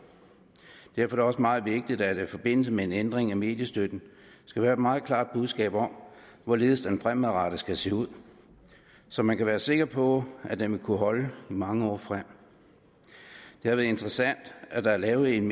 derfor er det også meget vigtigt at der i forbindelse med en ændring af mediestøtten skal være et meget klart budskab om hvorledes den fremadrettet skal se ud så man kan være sikker på at den vil kunne holde i mange år frem det er interessant at der er lavet en